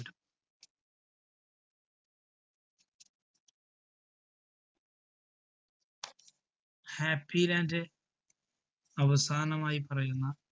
happy land അവസാനമായി പറയുന്ന